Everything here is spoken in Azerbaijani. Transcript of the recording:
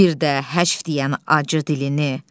Bir də həcv deyən acı dilini.